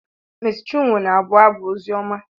Mési chinwo na-abụ abụ ozioma